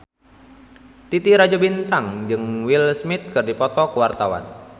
Titi Rajo Bintang jeung Will Smith keur dipoto ku wartawan